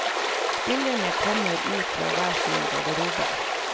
Spillerne kommer ut fra hver sine garderober.